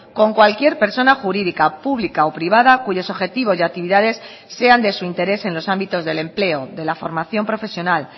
con cualquier persona jurídica pública o privada cuyos objetivos y actividades sean de su interés en los ámbitos del empleo de la formación profesional